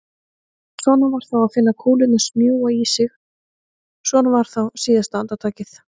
Svona var þá að finna kúlurnar smjúga í sig, svona var þá síðasta andartakið!